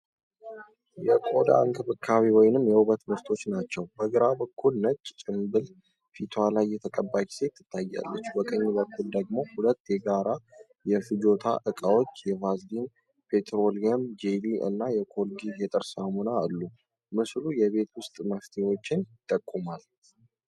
የቆዳ እንክብካቤ ወይም የውበት ምርቶች ናቸው። በግራ በኩል፣ ነጭ ጭምብል ፊቷ ላይ የተቀባች ሴት ትታያለች። በቀኝ በኩል ደግሞ ሁለት የጋራ የፍጆታ ዕቃዎች፣ የቫዝሊን ፔትሮሊየም ጄሊ እና የኮልጌት የጥርስ ሳሙና፣ አሉ። ምስሉ የቤት ውስጥ መፍትሄዎችን ይጠቁማል።